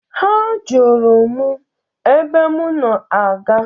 Ha Jụrụ m ebe m na-aga.